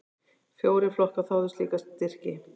Fjórir flokkar þáðu slíka styrki.